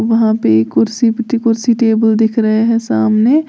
वहां पे एक कुर्सी कुर्सी टेबल दिख रहे हैं सामने।